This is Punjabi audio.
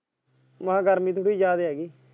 ਮੈਂ ਕਿਹਾ ਗਰਮੀ ਜਿਆਦੇ .